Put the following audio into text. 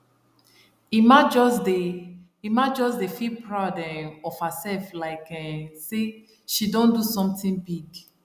emma just dey emma just dey feel proud um of herself like um say she don do something big